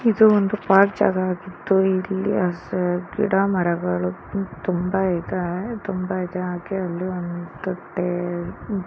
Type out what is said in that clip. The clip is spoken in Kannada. ಇದು ಒಂದು ಪಾರ್ಕ್ ಜಾಗ ಆಗಿದ್ದು ಇಲ್ಲಿ ಅಸರ್ ಗಿಡಮರಗಳು ತುಂಬಾ ಇದೆ. ತುಂಬಾ ಇದೆ ಹಾಗೆ ಅಲ್ಲಿ ಒಂದು ಟೇ--